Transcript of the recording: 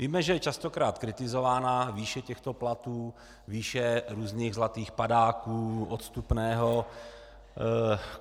Víme, že je častokrát kritizována výše těchto platů, výše různých zlatých padáků, odstupného.